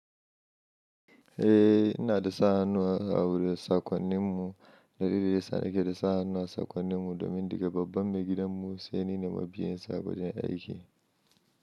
Eh ina da sa hannu a wurin saƙonnin mu. Dalilin da ya sa ni ke da sa hannu a saƙonnin mu domin daga babban maigidan mu sai ni ne mabiyin sa a wajen aiki.